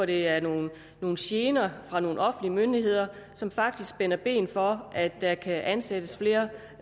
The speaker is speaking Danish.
det er nogle nogle gener fra nogle offentlige myndigheder som faktisk spænder ben for at der kan ansættes flere